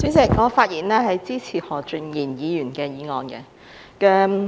主席，我發言支持何俊賢議員的議案。